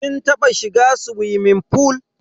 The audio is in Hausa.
Kin taba shiga suwimin fool?